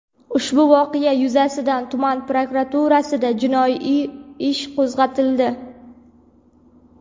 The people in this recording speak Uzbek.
Ushbu voqea yuzasidan tuman prokuraturasida jinoiy ish qo‘zg‘atildi.